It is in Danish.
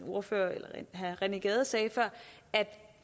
ordfører herre rené gade sagde før at